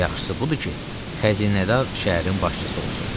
Yaxşısı budur ki, xəzinədar şəhərin başçısı olsun.